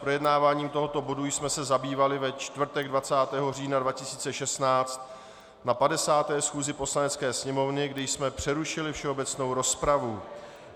Projednáváním tohoto bodu jsme se zabývali ve čtvrtek 20. října 2016 na 50. schůzi Poslanecké sněmovny, kdy jsme přerušili všeobecnou rozpravu.